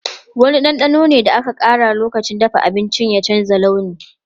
Wani ɗanɗanon da aka ƙara lokacin dafa abinci ne ya canza launi.